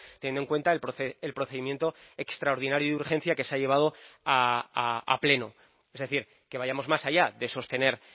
teniendo en cuenta el procedimiento extraordinario y de urgencia que se ha llevado a pleno es decir que vayamos más allá de sostener